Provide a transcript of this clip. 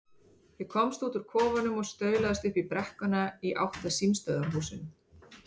Ég komst út úr kofanum og staulaðist upp brekkuna í átt að símstöðvarhúsinu.